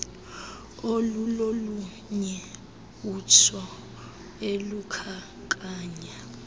olulolunye atsho elukhankanya